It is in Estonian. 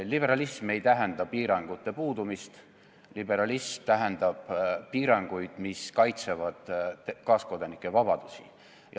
Liberalism ei tähenda piirangute puudumist, liberalism tähendab piiranguid, mis kaitsevad kaaskodanike vabadusi.